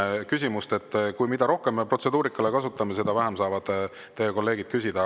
Mida rohkem me protseduurikale kasutame, seda vähem saavad teie kolleegid küsida.